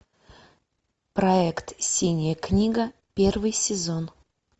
проект синяя книга первый сезон